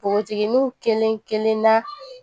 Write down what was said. Npogotigininw kelen kelenna